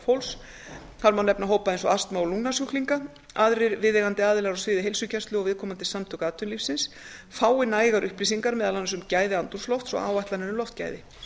fólks þar má nefna hópa eins og astma og lungnasjúklinga aðrir viðeigandi aðilar á sviði heilsugæslu og viðkomandi samtök atvinnulífsins fái nægar upplýsingar meðal annars um fái andrúmslofts og áætlanir um loftgæði